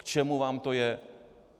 K čemu vám to je?